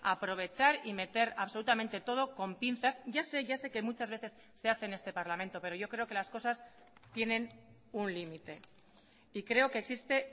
aprovechar y meter absolutamente todo con pinzas ya sé ya sé que muchas veces se hace en este parlamento pero yo creo que las cosas tienen un límite y creo que existe